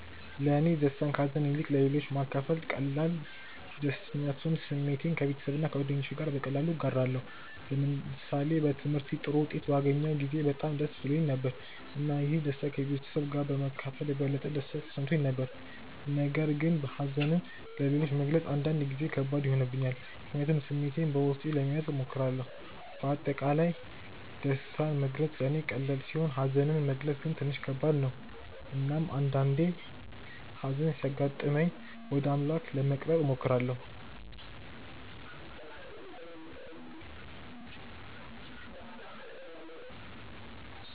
ለእኔ ደስታን ከሀዘን ይልቅ ለሌሎች ማካፈል ይቀላል። ደስተኛ ስሆን ስሜቴን ከቤተሰብና ከጓደኞቼ ጋር በቀላሉ እጋራለሁ። ለምሳሌ በትምህርቴ ጥሩ ውጤት ባገኘሁ ጊዜ በጣም ደስ ብሎኝ ነበር፣ እና ይህን ደስታ ከቤተሰቤ ጋር በመካፈል የበለጠ ደስታ ተሰምቶኝ ነበር። ነገር ግን ሀዘንን ለሌሎች መግለጽ አንዳንድ ጊዜ ከባድ ይሆንብኛል፣ ምክንያቱም ስሜቴን በውስጤ ለመያዝ እሞክራለሁ። በአጠቃላይ ደስታን መግለጽ ለእኔ ቀላል ሲሆን ሀዘንን መግለጽ ግን ትንሽ ከባድ ነው። እናም አንዳአንዴ ሀዘን ሲያጋጥመኝ ወደ አምላክ ለመቅረብ እሞክራለሁ።